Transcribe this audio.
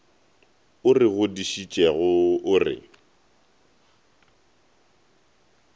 o re godišitšego o re